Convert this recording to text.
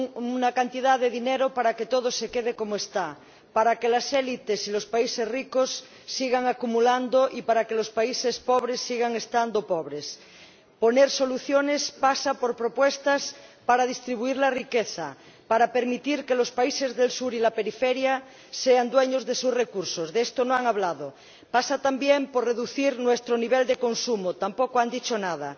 Señora Presidenta, señor Schmit, señor Timmermans, discurso vacío, apenas una cantidad de dinero para que todo se quede como está, para que las élites y los países ricos sigan acumulando y para que los países pobres sigan siendo pobres. Poner soluciones pasa por propuestas para distribuir la riqueza, para permitir que los países del sur y la periferia sean dueños de sus recursos —de esto no han hablado— pasa también por reducir nuestro nivel de consumo —tampoco han dicho nada—